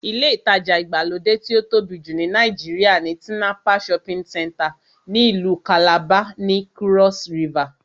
Ilé ìtajà ìgbàlódé tí ó tóbi jù ní Nàìjíríà ni Tinapa shopping center ní ìlú kàlàba, ní kúrọ́s rivà